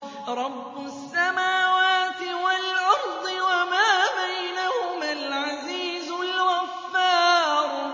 رَبُّ السَّمَاوَاتِ وَالْأَرْضِ وَمَا بَيْنَهُمَا الْعَزِيزُ الْغَفَّارُ